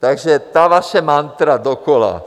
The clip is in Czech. Takže ta vaše mantra dokola.